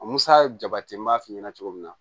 Musa jabati n b'a f'i ɲɛna cogo min na